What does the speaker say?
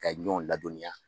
Ka ɲɔn ladɔnniya.